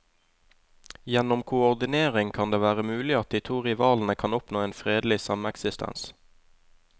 Gjennom koordinering kan det være mulig at de to rivalene kan oppnå en fredelig sameksistens.